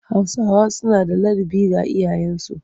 Hausawa suna da ladabi ga iyayensu